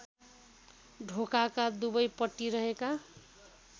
ढोकाका दुवैपट्टि रहेका